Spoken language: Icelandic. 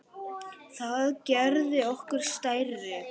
Það gerði okkur stærri.